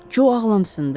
Co ağlamsındı.